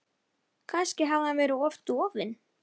Kannski hafði hann verið of dofinn.